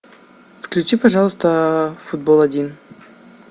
включи пожалуйста футбол один